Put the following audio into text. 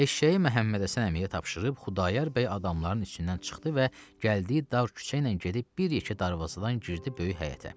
Eşşəyi Məhəmmədhəsən əmiyə tapşırıb Xudayar bəy adamların içindən çıxdı və gəldiyi dar küçə ilə gedib bir yeke darvazadan girdi böyük həyətə.